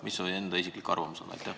Mis su enda isiklik arvamus on?